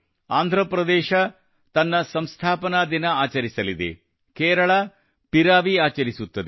ಆಂಧ್ರಪ್ರದೇಶ ತಮ್ಮ ಸಂಸ್ಥಾಪನಾ ದಿನ ಆಚರಿಸಲಿದೆ ಕೇರಳ ಪಿರವಿ ಆಚರಿಸುತ್ತದೆ